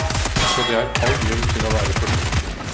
Så det er all grunn til å være forsiktig.